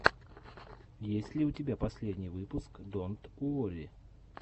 есть ли у тебя последний выпуск донт уорри